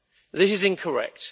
This is incorrect.